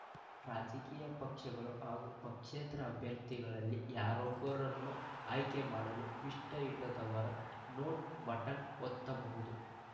ರಾಜಕೀಯ ಪಕ್ಷಗಳ ಹಾಗೂ ಪಕ್ಷೇತರ ಅಭ್ಯರ್ಥಿಗಳಲ್ಲಿ ಯಾರೊಬ್ಬರನ್ನೂ ಆಯ್ಕೆ ಮಾಡಲು ಇಷ್ಟವಿಲ್ಲದವರು ನೋಟಾ ಬಟನ್‌ ಒತ್ತಬಹುದು